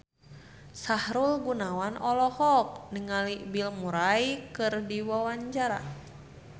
Sahrul Gunawan olohok ningali Bill Murray keur diwawancara